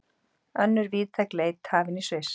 Önnur víðtæk leit hafin í Sviss